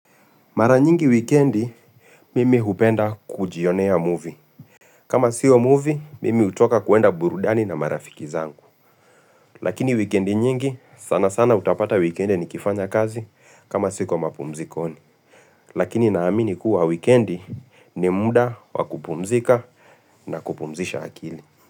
Mara nyingi wikendi, mimi hupenda kujionea movie. Kama siyo movie, mimi hutoka kwenda burudani na marafiki zangu. Lakini wikendi nyingi, sana sana utapata wikendi ni kifanya kazi kama siko mapumzikoni. Lakini naamini kuwa wikendi ni muda wakupumzika na kupumzisha akili.